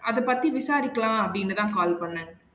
அது பத்தி விசாரிக்கலாம் அப்டின்னு தான் call பண்னேன்